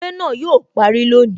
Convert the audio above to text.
Eré náà yo parí lónìí